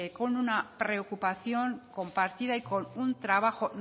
con una preocupación compartida y con un trabajo